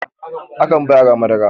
akan ba yara Madara